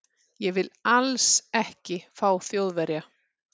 Ég vil ALLS ekki fá Þjóðverja.